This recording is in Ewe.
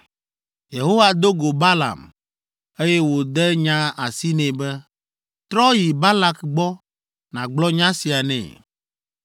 Yehowa do go Balaam, eye wòde nya asi nɛ be, “Trɔ yi Balak gbɔ nàgblɔ nya sia nɛ.”